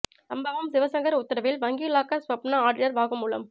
சம்பவம் சிவசங்கர் உத்தரவில் வங்கி லாக்கர் ஸ்வப்னா ஆடிட்டர் வாக்குமூலம்